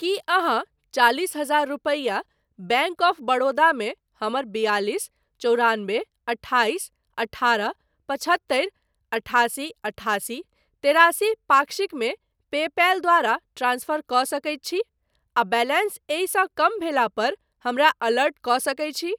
की अहाँ चालिस हजार रुपैया बैंक ऑफ बड़ौदा मे हमर बियालीस चौरानबे अठाइस अठारह पचहत्तरि अठासी अठासी तेरासी पाक्षिक मे पेपैल द्वारा ट्रांसफर कऽ सकैत छी आ बैलेंस एहिसँ कम भेला पर हमरा अलर्ट कऽ सकैत छी ?